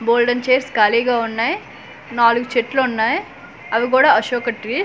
బోల్డన్ని chairs ఖాళీగా ఉన్నాయ్ నాలుగు చెట్లున్నాయ్ అవి గూడా అశోక ట్రీ .